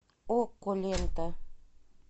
окко лента